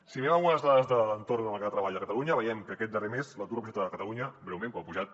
si mirem algunes dades de l’entorn del mercat treball de catalunya veiem que aquest darrer mes l’atur ha pujat a catalunya lleument però ha pujat